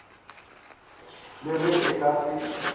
le ge e ka se